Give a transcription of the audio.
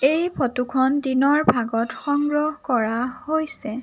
এই ফটো খন দিনৰ ভাগত সংগ্ৰহ কৰা হৈছে।